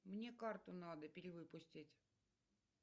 мне карту надо перевыпустить